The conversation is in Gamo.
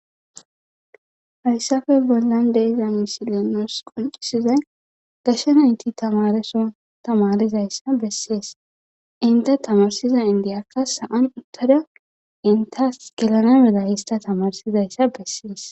Hayssape bollan de'iza misiley nuus qonccisizayssi gashe nayti tamareso tamarizayssa bessees indiye tamarssiza indiyakka sa'an uttada entas gelana mala histada tamarsizayssi beettees.